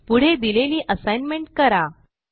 पुढे दिलेली असाइनमेंट करा